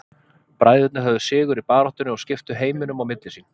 Bræðurnir höfðu sigur í baráttunni og skiptu heiminum á milli sín.